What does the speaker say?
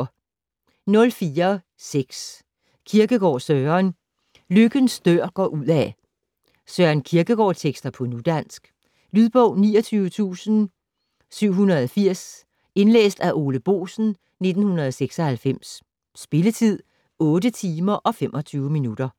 04.6 Kierkegaard, Søren: Lykkens dør går udad Søren Kierkegaard-tekster på nudansk. Lydbog 29780 Indlæst af Ole Boesen, 1996. Spilletid: 8 timer, 25 minutter.